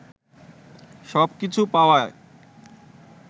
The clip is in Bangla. সব কিছু পাওয়ায়